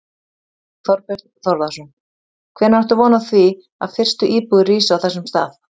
Þorbjörn Þórðarson: Hvenær áttu von á því að fyrstu íbúðir rísi á þessum stað?